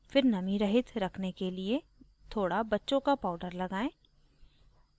फिर नमी रहित रखने के लिए थोड़ा बच्चों का powder लगाएं